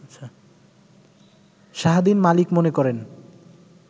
শাহদ্বীন মালিক মনে করেন